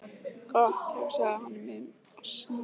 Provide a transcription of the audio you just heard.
Gott, hugsaði hann í miðjum asanum.